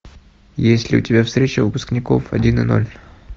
есть ли у тебя встреча выпускников один и ноль